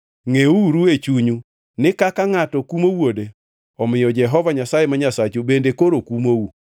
Ngʼeuru e chunyu ni kaka ngʼato kumo wuode, omiyo Jehova Nyasaye ma Nyasachu bende koro kumou.